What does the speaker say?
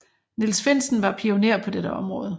Niels Finsen var pionér på dette område